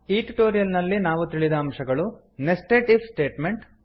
ಈ ಟ್ಯುಟೋರಿಯಲ್ ನಲ್ಲಿ ನಾವು ತಿಳಿದ ಅಂಶಗಳು ನೆಸ್ಟೆಡ್ ಇಫ್ ಸ್ಟೇಟ್ಮೆಂಟ್